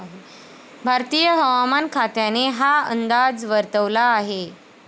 भारतीय हवामान खात्याने हा अंदाज वर्तवला आहे.